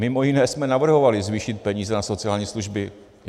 Mimo jiné jsme navrhovali zvýšit peníze na sociální služby.